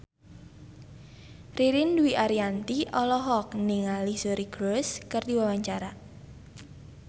Ririn Dwi Ariyanti olohok ningali Suri Cruise keur diwawancara